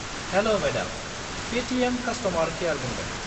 -हेल' madam, Paytm customer care बुंदों।